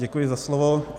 Děkuji za slovo.